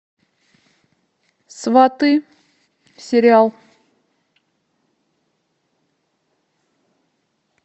сваты сериал